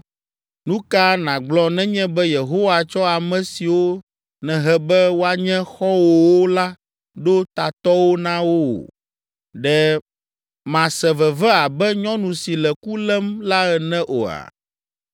Nu ka nàgblɔ nenye be Yehowa tsɔ ame siwo nèhe be woanye xɔ̃wòwo la ɖo tatɔwo na wò? Ɖe màse veve abe nyɔnu si le ku lém la ene oa?